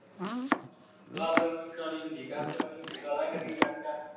ਗੱਲ ਵੀ ਕਰਾਉਣੀ ਹੁੰਦੀ, ਕਾਕਾ, ਹੋ਼ਲੀ ਹੋ਼ਲੀ ਗਾਲਾਂ ਕੱਢੀ ਜਾਂਦਾ